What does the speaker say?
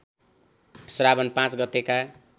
श्रावण ५ गतेका